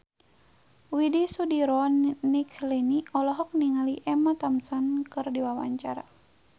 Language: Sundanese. Widy Soediro Nichlany olohok ningali Emma Thompson keur diwawancara